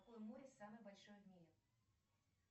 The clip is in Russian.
какое море самое большое в мире